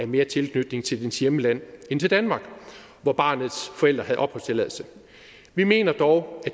mere tilslutning til dets hjemland end til danmark hvor barnets forældre havde opholdstilladelse vi mener dog at